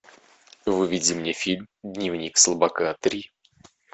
выведи мне фильм дневник слабака три